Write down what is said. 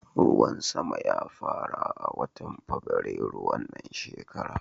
Ruwan sama ya fara a watan Fabwairu wannan shekara.